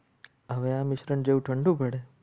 આવે આ મિશ્રણ જેવો ઠંડુ હોય.